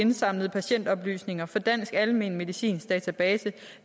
indsamlede patientoplysninger fra dansk almenmedicinsk database